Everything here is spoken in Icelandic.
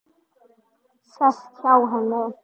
Sest hjá henni.